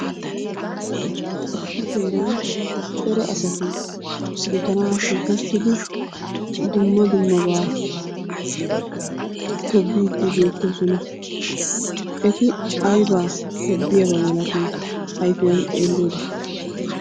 Issi heeran cora asati gutaara shiiqi uttidi dumma dummaba tobbidi beettoosona. Eti aybba tobbiyaaba malatii? ayfiyan xeeliyoode.